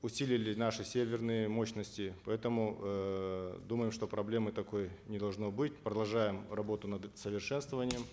усилили наши серверные мощности поэтому эээ думаем что проблемы такой не должно быть продолжаем работу над совершенствованием